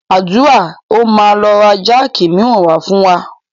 Àdúrà ó máa lọ ra jáàkì miran wá fún wa.